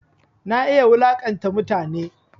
Na iya wulaƙanta mutane